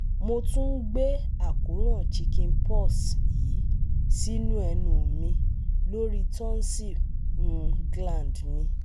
Mo tún ń gbé àkóràn chicken pox yìí sínú ẹnu mi lórí tonsil um gland mi